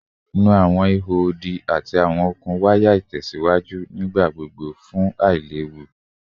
Nu awọn iho odi ati awọn okun waya itẹsiwaju nigbagbogbo fun ailewu